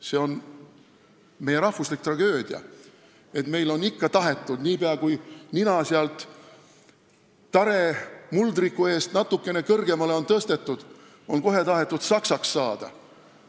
See on meie rahvuslik tragöödia, et meil on ikka tahetud nii pea, kui nina on sealt tare muldriku eest natukene kõrgemale tõstetud, saksaks saada.